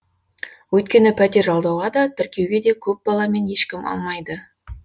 өйткені пәтер жалдауға да тіркеуге де көп баламен ешкім алмайды